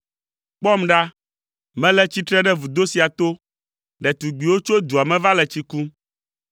Kpɔm ɖa, mele tsitre ɖe vudo sia to, ɖetugbiwo tso dua me va le tsi kum.